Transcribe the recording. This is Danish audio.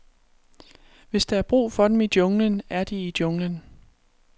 Hvis der er brug for dem i junglen, er de i junglen.